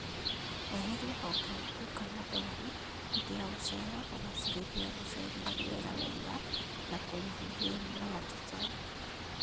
Eheria honge nguo kana ndwaru hĩndĩ ya gũceha kũgacĩrithia gũsheria rĩera wega na kũnyihia hinya wa tũtambi